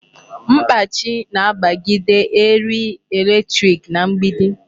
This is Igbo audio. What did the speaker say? Mkpachi na-agbagide erie electric na mgbidi.